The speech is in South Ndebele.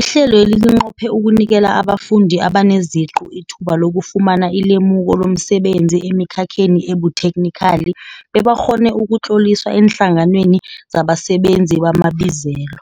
Ihlelweli linqophe ukunikela abafundi abaneziqu ithuba lokufumana ilemuko lomsebenzi emikhakheni ebuthekhnikhali bebakghone ukutloliswa eenhlanganweni zabasebenzi bamabizelo.